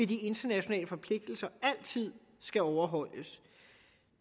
de internationale forpligtelser altid skal overholdes